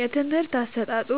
የትምህርት አሰጣጡ